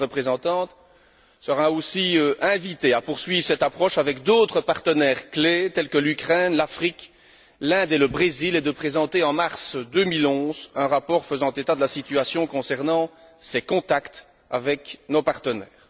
La haute représentante sera aussi invitée à poursuivre cette approche avec d'autres partenaires, tels que l'Ukraine, l'Afrique, l'Inde et le Brésil, et à présenter en mars 2011 un rapport faisant état de la situation concernant ses contacts avec nos partenaires.